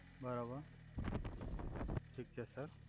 બરોબર ઠીક છે સર